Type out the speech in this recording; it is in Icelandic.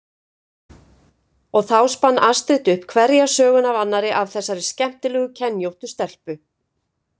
Og þá spann Astrid upp hverja söguna af annarri af þessari skemmtilega kenjóttu stelpu.